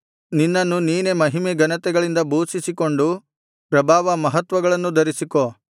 ನಿನ್ನನ್ನು ನೀನೇ ಮಹಿಮೆ ಘನತೆಗಳಿಂದ ಭೂಷಿಸಿಕೊಂಡು ಪ್ರಭಾವ ಮಹತ್ವಗಳನ್ನು ಧರಿಸಿಕೋ